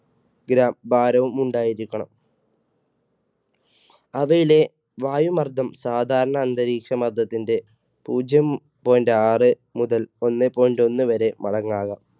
gram ഭാരവും ഉണ്ടായിരിക്കണം. അവയിലെ വായു മർദ്ദം സാധാരണ അന്തരീക്ഷമർദ്ദത്തിന്റെ പൂജ്യം point ആറ് മുതൽ ഒന്നേ point ഒന്ന് വരെ മടങ്ങാകാം